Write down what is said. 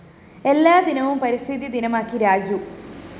എല്ലാ ദിനവും പരിസ്ഥിതി ദിനമാക്കി രാജു